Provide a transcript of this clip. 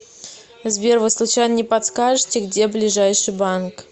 сбер вы случайно не подскажите где ближайший банк